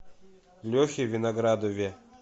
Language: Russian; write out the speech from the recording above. лехе виноградове